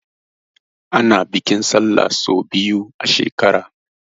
Ana bikin Sallah sau biyu a shekara.